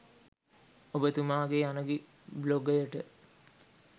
ඔබතුමාගේ අනගි බ්ලොගයට